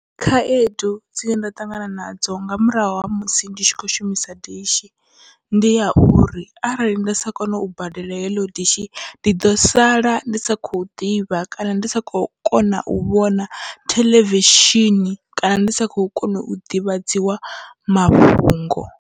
Khaedu dzine nda ṱangana nadzo nga murahu ha musi ndi tshi kho shumisa dishi, ndi ya uri arali nda sa kone u badela heḽo dishi ndi ḓo sala ndi sa khou ḓivha kana ndi sa kho kona u vhona theḽevishini kana ndi sa kho kona u ḓivhadziwa mafhungo.